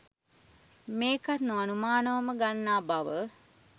මේකත් නො අනුමානවම ගන්නා බව